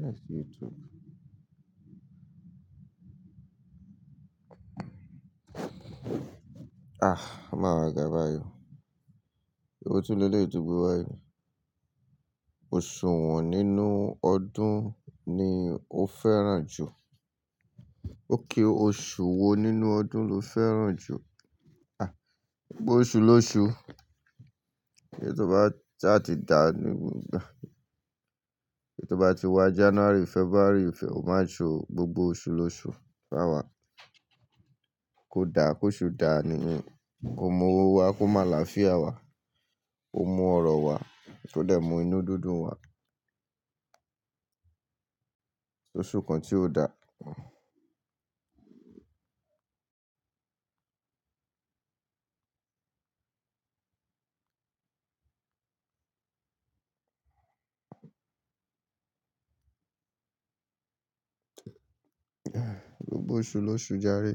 Let's see you talk. O ma waa ga báyìí o. Ewo tún leleyii to gbe wá yii. Oṣù wọ̀n nínú ọdún ni o fẹ́ràn jù? Okay oṣù wo nínú ọdún lo fẹ́ràn jù? Gbogbo oṣù lóṣù. Eyi tó bá sá ti dà èyí tó bá ti wá January, February, March, gbogbo oṣù lóṣù fun wà. Kosu daa ni ko mú owó wá, ko mu àlàáfíà wá ko mú ọ̀rọ̀ wá ko de mú inú dundun wà. Oṣù kan tí o dà. Gbogbo oṣù lóṣù járe.